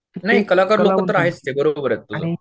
नाही कलाकार लोकं तर आहेच ते बरोबर आहे तुझं